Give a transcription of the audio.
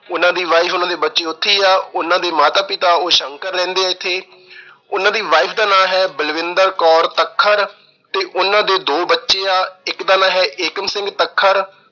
ਉਹਨਾਂ ਦੀ wife ਉਹਨਾਂ ਦੇ ਬੱਚੇ ਉੱਥੇ ਈ ਆ। ਉਹਨਾਂ ਦੇ ਮਾਤਾ ਪਿਤਾ ਉਹ ਸ਼ੰਕਰ ਰਹਿੰਦੇ ਆ ਇੱਥੇ। ਉਹਨਾਂ ਦੀ wife ਦਾ ਨਾਂ ਏ ਬਲਵਿੰਦਰ ਕੌਰ ਤੱਖਰ ਤੇ ਉਹਨਾਂ ਦੇ ਦੋ ਬੱਚੇ ਆ। ਇੱਕ ਦਾ ਨਾਂ ਐ- ਏਕਮ ਸਿੰਘ ਤੱਖਰ